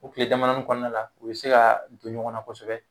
O kile damadɔni kɔnɔna la u be se ka don ɲɔgɔn na kosɛbɛ